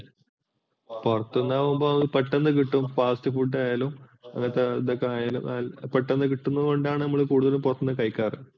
പുറത്തൂന്നാവുമ്പോൾ പെട്ടെന്ന് കിട്ടും, fast food ആയാലും പെട്ടെന്ന് കിട്ടുന്നോണ്ടാണ് നമ്മൾ കൂടുതൽ പുറത്തൂന്നു കഴിക്കാറ്.